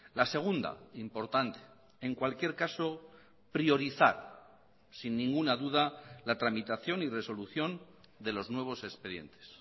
la segunda importante en cualquier caso priorizar sin ninguna duda la tramitación y resolución de los nuevos expedientes